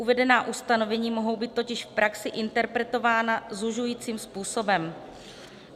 Uvedená ustanovení mohou být totiž v praxi interpretována zužujícím způsobem.